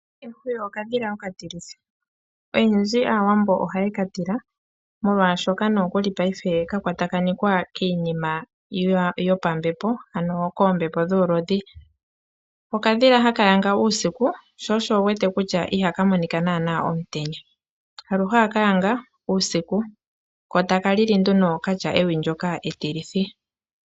Ehwiyu okadhila oka tilithi, oyendji Aawambo ohaye katila molwaashoka nookuli paife ka kwatakanekwa kiinima yopambepo ano koombepo dhuulodhi. Okadhila haka yanga uusiku sho osho wuwete kutya iha ka monika naana omutenya, aluhe oha ka yanga uusiku ko taka lili nduno okatya ewi ndoka etilithi.